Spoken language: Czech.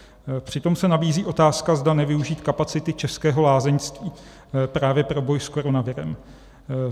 Přitom se nabízí otázka, zda nevyužít kapacity českého lázeňství právě pro boj s koronavirem.